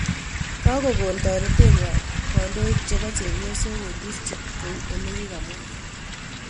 Kagokon toretenywan kandoik chepo chepyosok en district kou ole kikamwaa